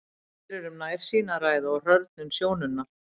Hér er um nærsýni að ræða og hrörnun sjónunnar.